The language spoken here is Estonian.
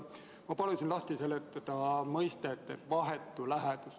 Ma palusin lahti seletada mõiste "vahetu lähedus".